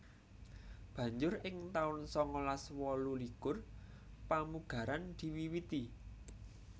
Banjur ing taun sangalas wolu likur pamugaran diwiwiti